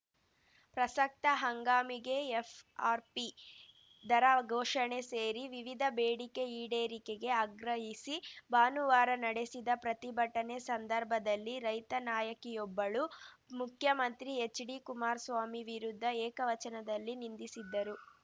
ಪ್ರಸಕ್ತ ಹಂಗಾಮಿಗೆ ಎಫ್‌ಆರ್‌ಪಿ ದರ ಘೋಷಣೆ ಸೇರಿ ವಿವಿಧ ಬೇಡಿಕೆ ಈಡೇರಿಕೆಗೆ ಆಗ್ರಹಿಸಿ ಭಾನುವಾರ ನಡೆಸಿದ ಪ್ರತಿಭಟನೆ ಸಂದರ್ಭದಲ್ಲಿ ರೈತ ನಾಯಕಿಯೊಬ್ಬಳು ಮುಖ್ಯಮಂತ್ರಿ ಎಚ್‌ಡಿ ಕುಮಾರಸ್ವಾಮಿ ವಿರುದ್ಧ ಏಕವಚನದಲ್ಲಿ ನಿಂದಿಸಿದ್ದರು